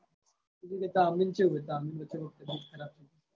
બીજું કે તાર મમ્મી ને ચેવું હે તાર મમ્મી ને વચ્ચે તબિયત ખરાબ